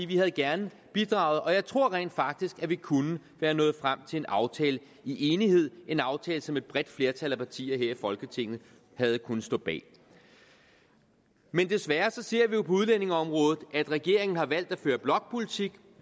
vi havde gerne bidraget og jeg tror rent faktisk at vi kunne være nået frem til en aftale i enighed en aftale som et bredt flertal af partier her i folketinget havde kunnet stå bag men desværre ser vi jo på udlændingeområdet at regeringen har valgt at føre blokpolitik